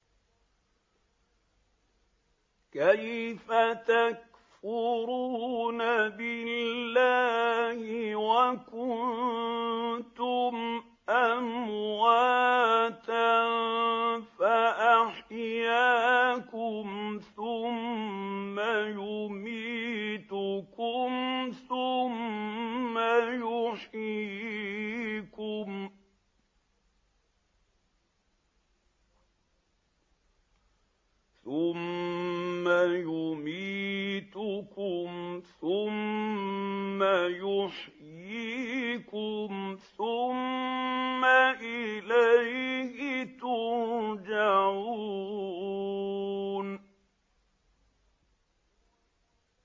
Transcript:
كَيْفَ تَكْفُرُونَ بِاللَّهِ وَكُنتُمْ أَمْوَاتًا فَأَحْيَاكُمْ ۖ ثُمَّ يُمِيتُكُمْ ثُمَّ يُحْيِيكُمْ ثُمَّ إِلَيْهِ تُرْجَعُونَ